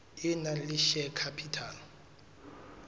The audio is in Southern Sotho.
e nang le share capital